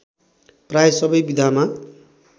प्राय सबै विधामा